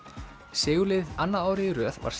sigurliðið annað árið í röð var